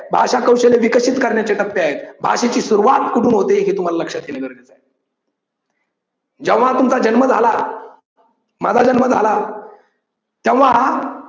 भाषा कौशल्ये विकसित करण्याचे टप्पे आहेत भाषेची सुरुवात कुठून होते हे तुम्हाला लक्षात येणे गरजेच आहे. जेव्हा तुमचा जन्म झाला, माझा जन्म झाला, तेव्हा